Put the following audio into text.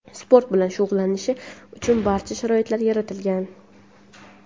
sport bilan shug‘ullanishi uchun barcha sharoitlar yaratilgan.